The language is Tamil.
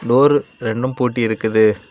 டோர் ரெண்டும் போட்டி இருக்குது.